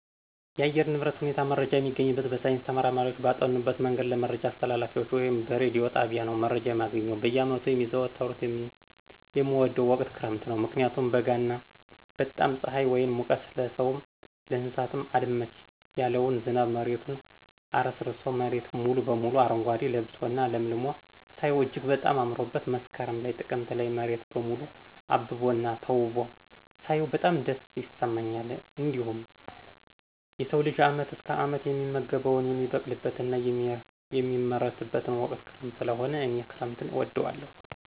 የአየር ንብረት ሁኔታ መረጃ የሚገኝበት በሳይንስ ተመራማሪዎች ባጠኑበት መንገድ ለመረጃ አስተላላፊዎች ወይም በረዲዮ ጣቢያ ነው መረጃ የማገኘው። በየዓመቱ ከሚዘዋወሩት የምወደው ወቅት ክረምት ነው ምክንያቱም በጋ እና በጣም ፅሐይ ወይም ሙቀት ለስውም ለእንሰሳውም አልመች ያለውን ዝናብ መሬቱን አረስርሶ መሬት ሙሉ በሙሉ አረጓዴ ለብሶ እና ለምልሞ ሳየው እጅግ በጣም አምሮበት መስከረም ላይ ጥቅምት ላይ መሬት በሙሉ አብቦ እና ተውቦ ሳያው በጣም ደስታ ይሰማኛል። እንዲሁም የሰው ልጅ አመት እስከ አመት የሚመገበውን የሚበቅልበት እና የሚመረትበት ወቅት ክረምት ሰለሆነ እኔ ክረምትን እወዳለሁ።